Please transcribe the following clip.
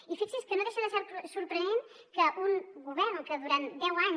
i fixi’s que no deixa de ser sorprenent que un govern que durant deu anys